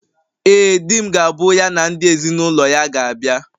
Ee, di m ga-abụ ya na ndị ezinụlọ ya ga-abịa